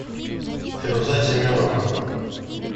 фируза семеновна